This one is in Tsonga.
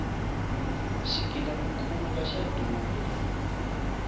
xigila mukhuva xa durha